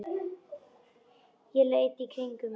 Ég leit í kringum mig.